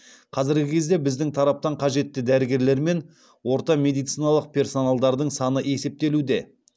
қазіргі кезде біздің тараптан қажетті дәрігерлер мен орта медициналық персоналдардың саны есептелуде